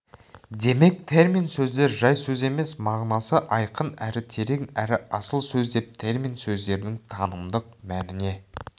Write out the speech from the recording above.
демек термин сөздер жай сөз емес мағынасы айқын әрі терең әрі асыл сөз деп термин сөздердің танымдық мәніне